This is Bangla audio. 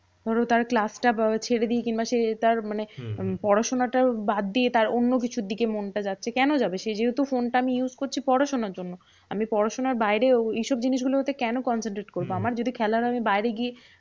ধরো তার class টা ছেড়ে দি কিংবা সে তার মানে পড়াশোনাটা বাদ দিয়ে তার অন্য কিছুর দিকে মনটা যাচ্ছে। কেন যাবে? সে যেহেতু ফোনটা আমি use করছি পড়াশোনার জন্য। আমি পড়াশোনার বাইরে এইসব জিনিসগুলো হতে কেন concentrate করবো। আমার যদি খেলার হয় আমি বাইরে গিয়ে